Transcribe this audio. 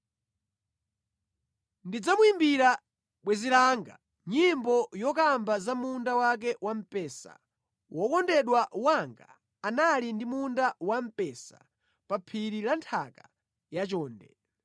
Ndidzamuyimbira bwenzi langa nyimbo yokamba za munda wake wa mpesa: Wokondedwa wanga anali ndi munda wamphesa pa phiri la nthaka yachonde.